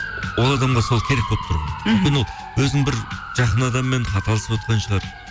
ол адамға сол керек болып тұр ғой өзінің бір жақын адамымен хат алысыватқан шығар